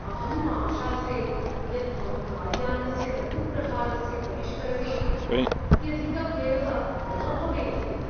अहम् आशासे यत् मम कार्यानस्य लघुप्रहारस्य परिष्करणे अत्यधिकः व्ययः न भवेत् इति।